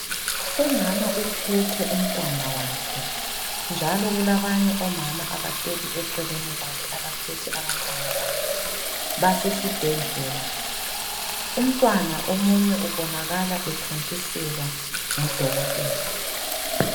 Umama uphethe umntwana wakhe njalo kulabanye omama abahleli eceleni kwakhe abaphethe abantwana babo basesibhedlela. Umntwana omunye ubonakala ethontiselwa ngudokotela.